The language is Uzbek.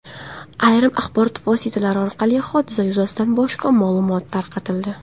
Ayrim axborot vositalari orqali hodisa yuzasidan boshqa ma’lumot tarqatildi.